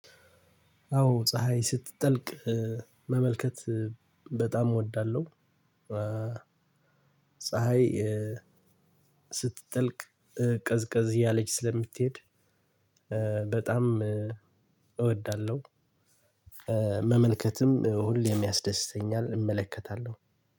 አዎ ፀሀይ ስትጠልቅ መመልከት በጣም እወዳለሁ። ፀሀይ ስትጠልቅ ቀዝቀዝ ያለች ስለሚትሄድ በጣም እወዳለሁ። መመልከትም ሁሌም ያስደስተኛል እመለከታለሁ።